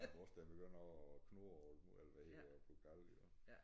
Nej vores den begynder at knurre og eller hvad hedder det blive gal jo